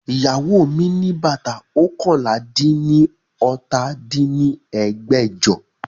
Iyawo mi bata oókànlá-dín-ní-ọ́ta dín ní ẹgbẹ́jọ